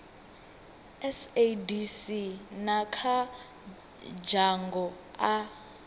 sadc na kha dzhango a